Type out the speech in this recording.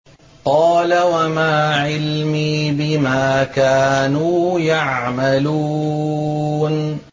قَالَ وَمَا عِلْمِي بِمَا كَانُوا يَعْمَلُونَ